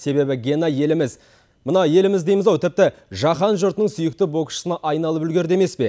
себебі гена еліміз мына еліміз дейміз ау тіпті жаһан жұртының сүйікті боксшысына айналып үлгерді емес пе